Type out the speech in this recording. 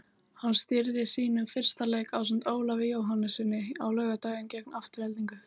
Hann stýrði sínum fyrsta leik ásamt Ólafi Jóhannessyni á laugardaginn gegn Aftureldingu.